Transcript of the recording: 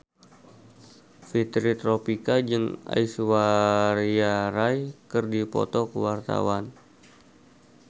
Fitri Tropika jeung Aishwarya Rai keur dipoto ku wartawan